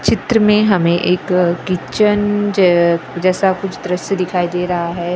चित्र में हमें एक किचन ज जेसा कुछ द्रश्य दिखाई दे रहा है रसोई घर है।